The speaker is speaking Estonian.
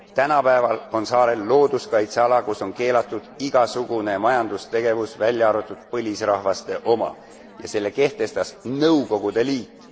Tänapäeval on saarel looduskaitseala, kus on keelatud igasugune majandustegevus, välja arvatud põlisrahvaste oma, ja selle kehtestas Nõukogude